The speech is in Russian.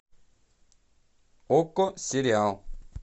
окко сериал